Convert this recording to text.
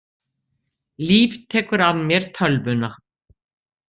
Líf tekur af mér tölvuna.